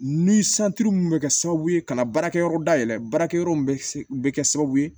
Ni mun bɛ kɛ sababu ye ka na baarakɛyɔrɔ dayɛlɛ baarakɛyɔrɔ mun bɛ kɛ sababu ye